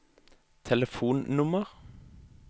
telefonnummer